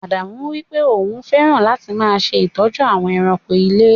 Ádámù wípé òun máa fẹràn láti máa ṣe ìtọ́jú àwọn èràńko ilé.